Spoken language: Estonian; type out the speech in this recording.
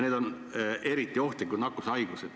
Need on eriti ohtlikud nakkushaigused.